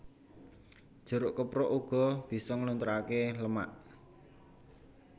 Jeruk keprok uga bisa nglunturaké lemak